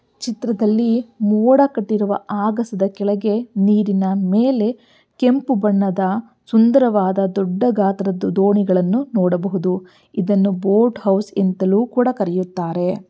ಈ ಚಿತ್ರದಲ್ಲಿ ಮೋಡ ಕಟ್ಟಿರುವ ಅಗಸದ್ ಕೆಳಗೆ ನೀರಿನ ಮೇಲೆ ಕೆಂಪುಬಣ್ಣದ ಸುಂದರವಾದ ದೊಡ್ಡ ಗಾತ್ರದ ದೋಣಿಗಳನ್ನೂ ನೋಡಬಹುದು. ಇದನ್ನು ಬೋಟ್ ಹೌಸ್ ಅಂತಲೂ ಕರೀತಾರೆ.